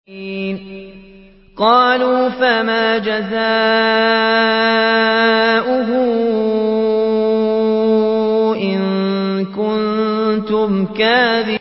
قَالُوا فَمَا جَزَاؤُهُ إِن كُنتُمْ كَاذِبِينَ